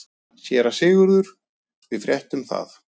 SÉRA SIGURÐUR: Við fréttum það.